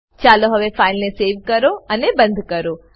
ચાલો હવે ફાઈલને સેવ કરો અને બંદ કરો